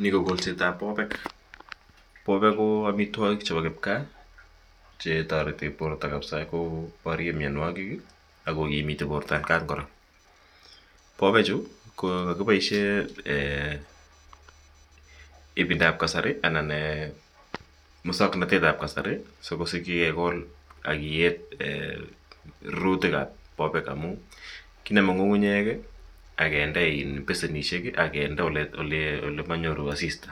Nii ko kolsetab bobeek, bobeek ko amitwokik chebo kipkaa chetoreti borto kabisaa koborien mionwokik am kokimiit borto atkan kora, bobechu ko kiboishen Um ibindab kasari anan muswoknotetab kasari sikosikyi kekol ak kiyeb rurutikab bobeek amun kinome ng'ung'unyek ak kinde besinishek ak kinde olemonyoru asista